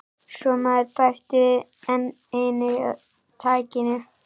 Svo maður bæti við enn einu hugtakinu.